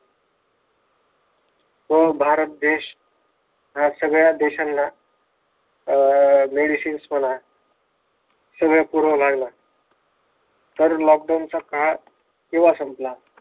व भारत देश सगळ्या देशांना अह medicines म्हणा सगळं पुरवू लागला तर लॉकडाऊनचा काळ तेव्हा संपला.